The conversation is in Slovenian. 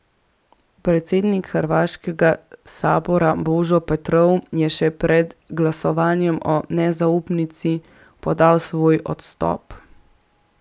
Predsednik hrvaškega sabora Božo Petrov je še pred glasovanjem o nezaupnici podal svoj odstop.